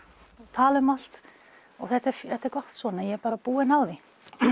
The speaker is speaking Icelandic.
tala um allt og þetta er þetta er gott svona ég er bara búinn á því